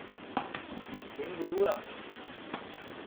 Kenguruja?